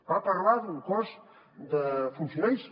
va parlar d’un cos de funcionaris